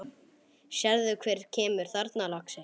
Sérðu hver kemur þarna, lagsi?